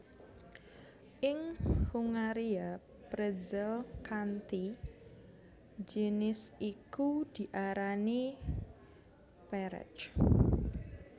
Ing Hungaria pretzel kanthi jinis iku diarani perec